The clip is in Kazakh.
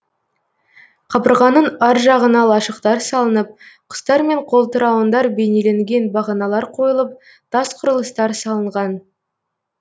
қабырғаның ар жағына лашықтар салынып құстар мен қолтырауындар бейнеленген бағаналар қойылып тас құрылыстар салынған